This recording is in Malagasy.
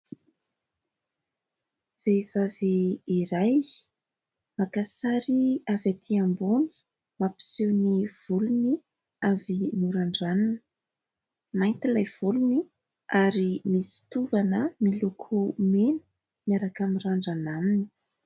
Vehivavy iray maka sary avy aty ambony, mampiseho ny volony avy norandranina ; mainty ilay volony ary misy tovana miloko mena miaraka mirandrana aminy.